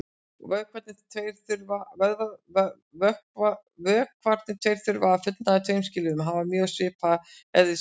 Vökvarnir tveir þurfa að fullnægja tveimur skilyrðum: Hafa mjög svipaðan eðlismassa.